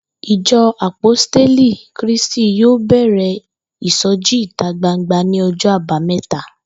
Ìjo̩ Àpóstélì ti Krístì yóò bè̩rè̩ ìso̩jí ìta gbangba ní o̩jó̩ Àbámé̩ta